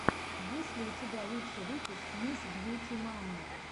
есть ли у тебя лучший выпуск мисс бьюти мамы